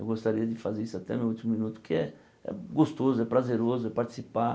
Eu gostaria de fazer isso até meu último minuto, que é gostoso, é prazeroso, é participar.